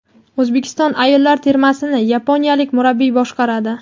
O‘zbekiston ayollar termasini yaponiyalik murabbiy boshqaradi.